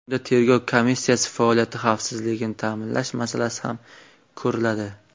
Unda tergov komissiyasi faoliyati xavfsizligini ta’minlash masalasi ham ko‘riladi.